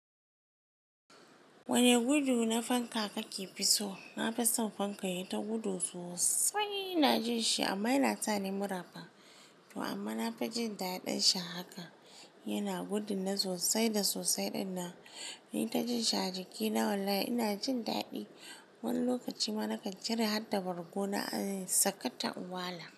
Wane gudu na fanka kake fi so? Na fi son fanka yai ta gudu sosai. Na ji shi amma yana sani mura fa. To amma na fi jin daɗin shi haka. Yana gudun na sosai da sosai ɗinna. Ni ta jin shi a jikina. Wallahi ina jin daɗi. Wani lokaci ma na kan cire har da bargo na in sakata unwala.